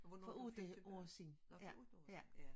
Hvor er du flyttet tilbage? Nå for 8 år siden